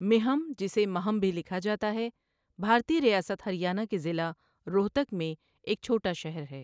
مِہم، جسے مَہم بھی لکھا جاتا ہے، بھارتی ریاست ہریانہ کے ضلع روہتک میں ایک چھوٹا شہر ہے۔